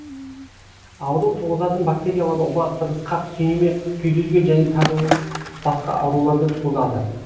ауру туғызатын бактериялар оба тырысқақ түйнеме күйдіргі және тағы басқа ауруларды туғызады